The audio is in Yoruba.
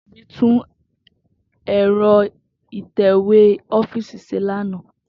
Tobi tun ẹ́rọ ìtẹ̀wé ọ́fíísì ṣe lana.